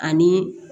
Ani